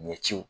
Ɲɛciw